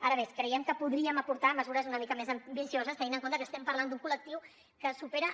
ara bé creiem que podríem aportar mesures una mica més ambicioses tenint en compte que estem parlant d’un col·lectiu que supera